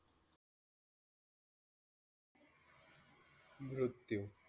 मृत्यू.